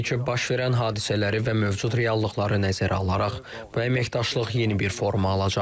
Təbii ki, baş verən hadisələri və mövcud reallıqları nəzərə alaraq, bu əməkdaşlıq yeni bir forma alacaq.